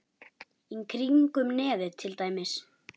Í kringum nefið til dæmis.